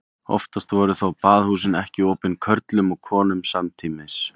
Oftast voru þó baðhúsin ekki opin körlum og konum samtímis.